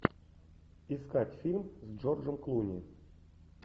искать фильм с джорджем клуни